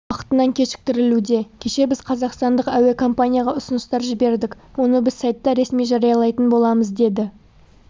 уақытынан кешіктірілуде кеше біз қазақстандық әуекомпанияға ұсыныстар жібердік оны біз сайтта ресми жариялайтын боламыз деді